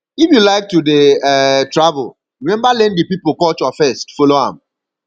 if you like to dey um travel remember learn di pipo culture first follow am